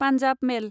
Punjab मेल